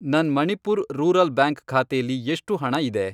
ನನ್ Manipur rural bank ಖಾತೆಲಿ ಎಷ್ಟು ಹಣ ಇದೆ?